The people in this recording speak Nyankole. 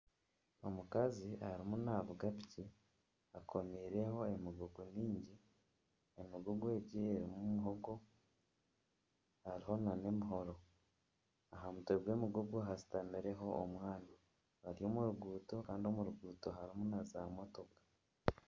Omukazi arimu navuga piki akomiireho emigugu mingi. Emigugu egi erimu muhogo hariho nana emihoro. Aha mutwe gw'emigugu hashutamireho omwana. Ari omu ruguuto kandi omu ruguuto harimu na za motoka.